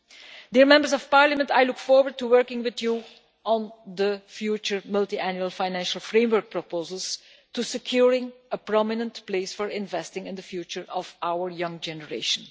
Honourable Members, I look forward to working with you on the future Multiannual Financial Framework proposals, to securing a prominent place for investing in the future of our young generation.